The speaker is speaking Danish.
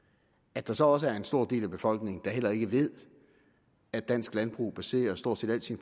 at der så også er en stor del af befolkningen der heller ikke ved at dansk landbrug baserer stort set hele sin